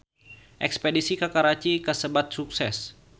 Espedisi ka Karachi kasebat sukses